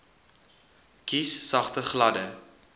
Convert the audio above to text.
kies sagte gladde